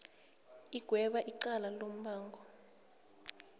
igwebe icala lombango